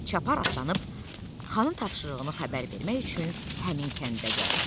Çapar atlanıb xanın tapşırığını xəbər vermək üçün həmin kəndə gəldi.